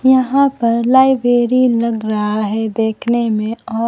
यहां पर लाइब्रेरी लग रहा है देखने में और--